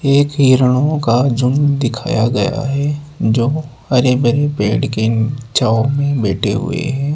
एक हिरणों का झुंड दिखाया गया है जो हरे भरे पेड़ के छांव में बैठे हुए हैं।